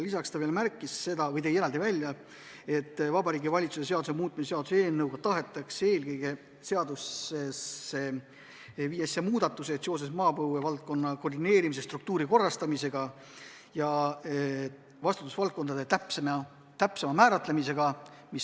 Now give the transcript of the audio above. Lisaks ta märkis veel seda või tõi eraldi välja, et Vabariigi Valitsuse seaduse muutmise seaduse eelnõu eesmärk on eelkõige teha seaduses muudatused seoses maapõue valdkonna koordineerimise, struktuuri korrastamisega ja vastutusvaldkondade täpsema määratlemisega.